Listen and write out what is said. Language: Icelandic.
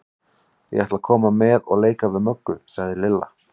Ég ætla að koma með og leika við Möggu, sagði Lilla.